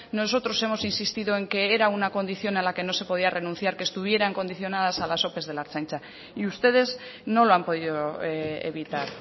nosotros hemos insistido en que era una condición a la que no se podía renunciar que estuvieran condicionadas a las ope de la ertzaintza y ustedes no lo han podido evitar